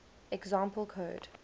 example code